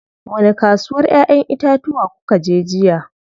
Wani kasuwar ƴayen itatuwa kukaje jiya?